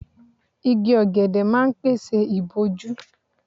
Igi ọ̀gẹ̀dẹ̀ máa ń pèsè ìbòjú.